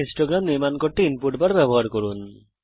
তালিকার সাথে বারলেখ নির্মাণ করার জন্যে ইনপুট বারের ব্যবহার করুন